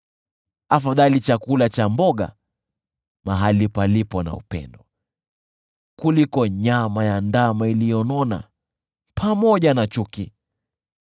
Afadhali chakula cha mboga mahali palipo na upendo kuliko nyama ya ndama iliyonona pamoja na chuki.